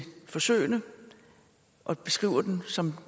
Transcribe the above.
forsøgene og beskriver dem som